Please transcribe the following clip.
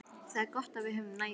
Það er gott að við höfum næði.